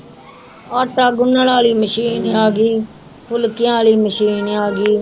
ਆਟਾ ਗੁੰਨਣ ਵਾਲੀ ਮਸ਼ੀਨ ਆ ਗਈ, ਫੁਲਕਿਆਂ ਵਾਲੀ ਮਸ਼ੀਨ ਆ ਗਈ।